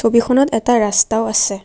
ছবিখনত এটা ৰাস্তাও আছে।